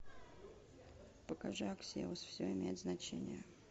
покажи аксиос все имеет значение